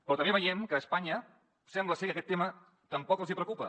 però també veiem que a espanya sembla ser que aquest tema tampoc els preocupa